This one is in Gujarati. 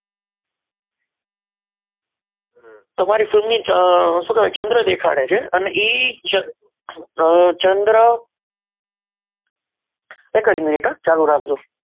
તમારી film ની શું કહેવાય ચંદ્ર દેખાડે છે અને એ ચંદ્ર એક જ minit હો ચાલુ રાખજો.